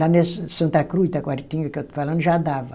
Lá em Santa Cruz, Taquaritinga, que eu estou falando, já dava.